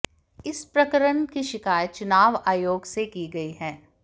इस प्रकरण की शिकायत चुनाव आयोग से की गई है